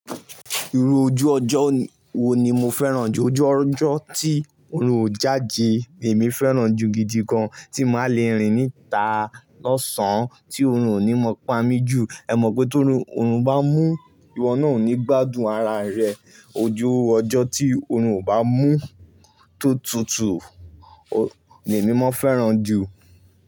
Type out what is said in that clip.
Irú ojú ọjọ́ wo ni mo fẹ́ràn jù? Ojú ọjọ́ tí oòrùn ò jáde èmi fẹ́ràn jù gidi gan, tí màá le rìn níta lọ́sàn, tí oòrùn ò ní mọ pamí jù. Ẹ mọ̀ pé tó oòrùn bá mú, ìwọ náà ò ní gbádùn ara rẹ. Ojú ọjọ́ tí oòrùn ò bá mú tó tutù ni èmi máa fẹ́ràn jù.